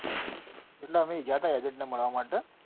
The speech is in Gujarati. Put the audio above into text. એટલે અમે ગયા હતા agent ને મળવા માટે.